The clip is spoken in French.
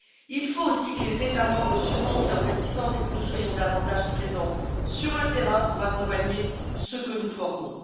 Il faut aussi que les États membres surmontent leurs réticences et que nous soyons davantage présents sur le terrain pour accompagner ceux que nous formons.